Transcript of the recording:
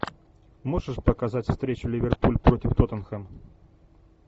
можешь показать встречу ливерпуль против тоттенхэм